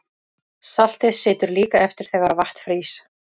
Saltið situr líka eftir þegar vatn frýs.